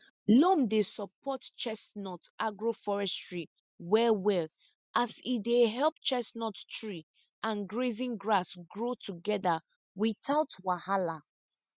loam dey support chestnut agroforestry wellwell as e dey help chestnut tree and grazing grass grow together without wahala